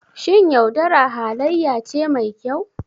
Shin yaudara halayya ce mai kyau?